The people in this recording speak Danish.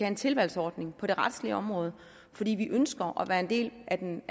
en tilvalgsordning på det retslige område fordi vi ønsker at være en del af den